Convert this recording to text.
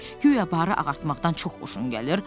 Güya barı ağartmaqdan çox xoşun gəlir?